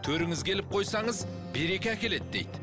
төріңізге іліп қойсаңыз береке әкеледі дейді